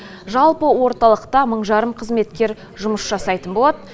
жалпы орталықта мың жарым қызметкер жұмыс жасайтын болады